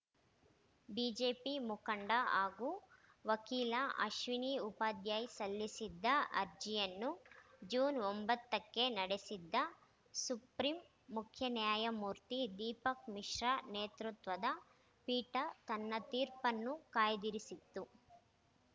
BJP ಮುಖಂಡ ಹಾಗೂ ವಕೀಲ ಅಶ್ವಿನಿ ಉಪಾಧ್ಯಾಯ್‌ ಸಲ್ಲಿಸಿದ್ದ ಅರ್ಜಿಯನ್ನು ಜೂನ್ ಒಂಬತ್ತಕ್ಕೆ ನಡೆಸಿದ್ದ ಸುಪ್ರೀಂ ಮುಖ್ಯ ನ್ಯಾಯಮೂರ್ತಿ ದೀಪಕ್‌ ಮಿಶ್ರಾ ನೇತೃತ್ವದ ಪೀಠ ತನ್ನ ತೀರ್ಪನ್ನು ಕಾಯ್ದಿರಿಸಿತ್ತು